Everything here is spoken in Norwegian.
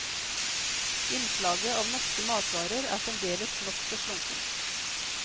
Innslaget av norske matvarer er fremdeles nokså slunkent.